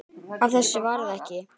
Af þessu varð ekki.